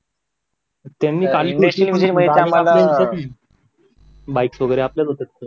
bikes वगैरे आपल्याच होत्या